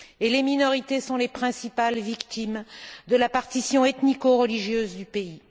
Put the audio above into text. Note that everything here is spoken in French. Les minorités sont les principales victimes de la partition ethnico religieuse du pays.